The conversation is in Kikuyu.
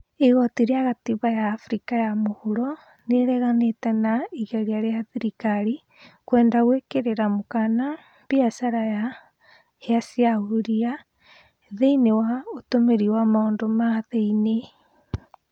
Igoti rĩa gatiba ya Afrika ya Muhuro nĩrĩreganĩte na igeria rĩa thirikari kwenda gwĩkĩrĩra mũkana mbiacara ya hĩa cia huria thĩiniĩ wa ũtũmĩri wa maundu ma thĩiniĩ